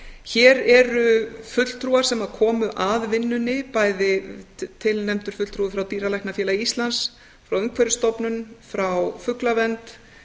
hér eru fulltrúar sem komu að vinnunni bæði tilnefndur fulltrúi frá dýralæknafélagi íslands frá umhverfisstofnun frá fuglavernd